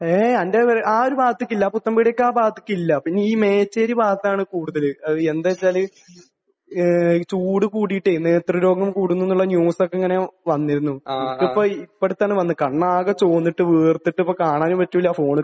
ഏയ്. നിന്റെ വീട് ആ ഒരു ഭാഗത്തേക്ക് ഇല്ല. പുത്തൻപീഡിയക്ക് ആ ഭാഗത്തേക്ക് ഇല്ല. പിന്നെ ഈ മേച്ചേരി ഭാഗത്താണ് കൂടുതൽ. എന്താണെന്ന് വെച്ചാൽ ഏഹ് ചൂട് കൂടിയിട്ടേ നേത്രരോഗം കൂടുന്നു എന്നുള്ള ന്യൂസ് ഒക്കെ ഇങ്ങനെ വന്നിരുന്നു. അതിപ്പോൾ ഇവിടെ തന്നെ വന്ന്. കണ്ണ് ആകെ ചുവന്നിട്ട് വീർത്തിട്ട് ഇപ്പോൾ കാണാനും പറ്റില്ല ഫോണിലേക്ക്